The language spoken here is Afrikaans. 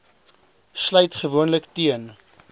sluit gewoonlik teen